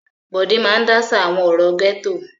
Bọ̀dé máa dáṣà àwọn ọ̀rọ̀ gẹ́tò.